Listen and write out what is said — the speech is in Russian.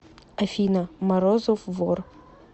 афина морозов вор